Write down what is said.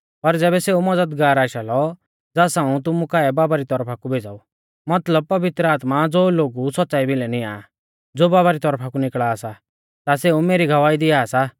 पर ज़ैबै सेऊ मज़दगार आशा लौ ज़ास हाऊं तुमु काऐ बाबा री तौरफा कु भेज़ाऊ मतलब पवित्र आत्मा ज़ो लोगु सौच़्च़ाई भिलै निंया आ ज़ो बाबा री तौरफा कु निकल़ा सा ता सेऊ मेरी गवाही दिआ सा